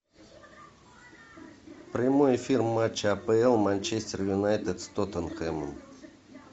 прямой эфир матча апл манчестер юнайтед с тоттенхэмом